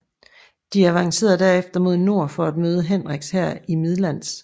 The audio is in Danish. De avancerede derefter mod nord for at møde Henriks hær i Midlands